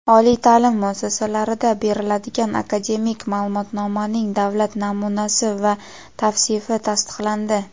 oliy taʼlim muassasalarida beriladigan akademik maʼlumotnomaning davlat namunasi va tavsifi tasdiqlandi.